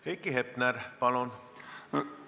Heiki Hepner, palun!